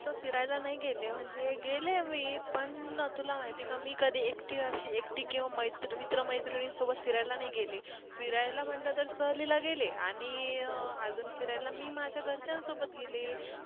फिरायला नाही गेली म्हणजे गेलीये मी पण तुला माहित ये का मी कधी एकटी अशी एकटी अशी किंवा मैत्र मित्र मैत्रीणी सोबत फिरायला नाही गेली फिरायला म्हटल सहलीला गेलीये आणि अजून फिरायला मी माझ्या घरच्यांन सोबत गेली ये